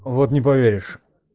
вот не поверишь